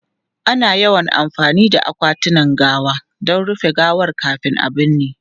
Ana yawan amfani da akwatunan gawa don rufe gawar kafin a binne.